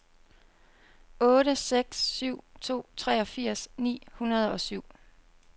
otte seks syv to treogfirs ni hundrede og syv